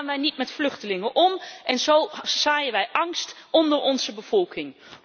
Zo gaan wij niet met vluchtelingen om en zo zaaien wij angst onder onze bevolking.